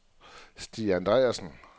Stig Andreassen